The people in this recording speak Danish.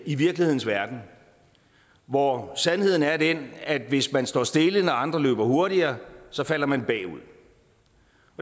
i virkelighedens verden hvor sandheden er den at hvis man står stille når andre løber hurtigere falder man bagud